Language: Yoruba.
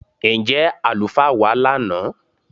Ǹjẹ́ alufaa wa lánà?